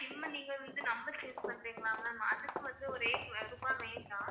SoSIM ஆ நீங்க வந்து number change பண்றீங்களா ma'am அதுக்கு வந்து ஒரு rate ருபாய் வேண்டாம்